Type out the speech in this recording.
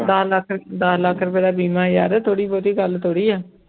ਦਸ ਲੱਖ ਦਸ ਲੱਖ ਰੁਪਏ ਦਾ ਬੀਮਾ ਯਾਰ ਥੋੜ੍ਹੀ ਬਹੁਤੀ ਗੱਲ ਥੋੜ੍ਹੀ ਹੈ